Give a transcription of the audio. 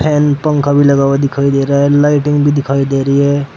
And पंखा भी लगा हुआ दिखाई दे रहा है लाइटिंग भी दिखाई दे रही है।